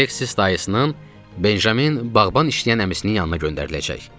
Aleksis dayısının, Benjamin bağban işləyən əmisinin yanına göndəriləcək.